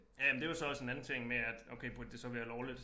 Ja men det jo så også en anden ting med at okay burde det så være lovligt